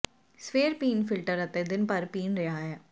ਸਵੇਰ ਪੀਣ ਫਿਲਟਰ ਅਤੇ ਦਿਨ ਭਰ ਪੀਣ ਰਿਹਾ ਹੈ